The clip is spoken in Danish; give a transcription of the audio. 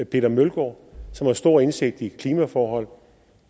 peter mølgaard som har stor indsigt i klimaforhold